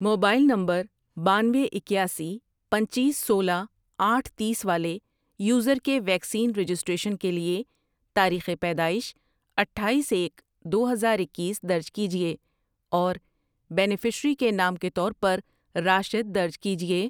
Mobile number بانوے، اکیاسی، پنچیس، سولہ، آٹھ ،تیس والے یوزر کے ویکسین رجسٹریشن کے لیے تاریخ پیدائش اٹھایس، ایک، دو ہزار اکیس درج کیجیے اور بینیفشیری کے نام کے طور پر راشد درج کیجیے۔